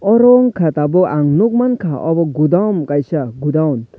oro unkha tabuk ang nug mangka obo godown kaisa gudawon.